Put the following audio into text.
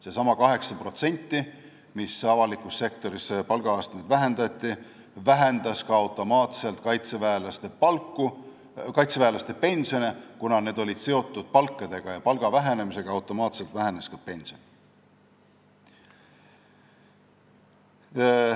Seesama 8%, mille võrra avalikus sektoris palgaastmeid vähendati, vähendas automaatselt ka kaitseväelaste pensione, kuna need olid seotud palkadega ja koos palga vähenemisega vähenes automaatselt ka pension.